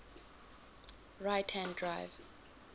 right hand drive